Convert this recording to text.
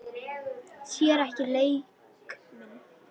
Sér ekki leik minn.